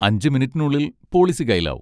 അഞ്ച് മിനിറ്റിനുള്ളിൽ പോളിസി കയ്യിലാവും.